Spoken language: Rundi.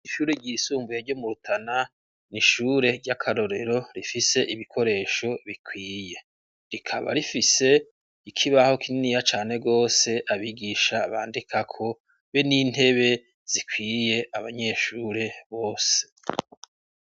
ishure ryisumbuye ryo mu Rutana n'ishure ry'akarorero rifise ibikoresho bikwiye rikaba rifise ikibaho kininiya cane gose abigisha bandika ko be n'intebe zikwiye abanyeshure bose.